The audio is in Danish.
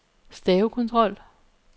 stavekontrol